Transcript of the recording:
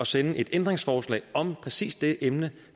sende et ændringsforslag om præcis det emne